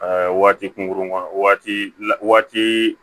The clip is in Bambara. waati kunkurunna waati la waati